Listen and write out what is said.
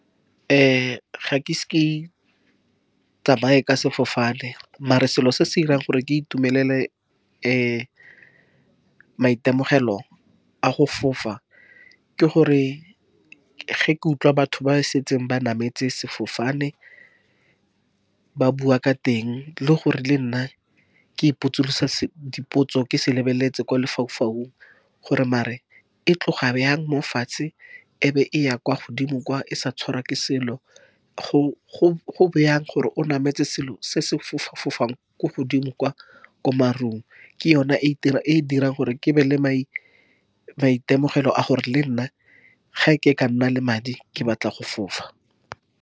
Ga ke ise ke tsamaye ka sefofane, mare selo se se dirang gore ke itumelele maitemogelo a go fofa ke gore ge ke utlwa batho ba ba setseng ba nametse sefofane ba bua ka teng, le gore le nna ke ipotse dipotso, ke se lebeletse kwa lefaufaung, gore mare e tloga bjang mofatshe, e be e ya kwa godimo kwa e sa tshwarwa ke selo, go bjang gore o nametse selo se se fofang ko godimo kwa ko marung. Ke yona e e dirang gore ke be le maitemogelo a gore le nna ge ke ka nna le madi, ke batla go fofa.